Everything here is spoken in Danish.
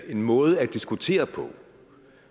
en måde at diskutere på